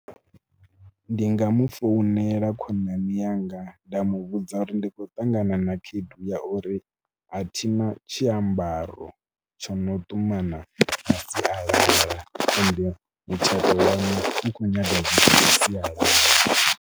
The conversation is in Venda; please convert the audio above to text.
Ndi nga mu founela khonani yanga nda mu vhudza uri ndi khou ṱangana na khaedu ya uri a thina tshiambaro tsho no ṱumana sialala ende mutshato wa waṋu u khou nyaga zwithu zwasialala.